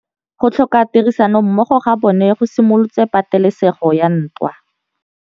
Go tlhoka tirsanommogo ga bone go simolotse patêlêsêgô ya ntwa.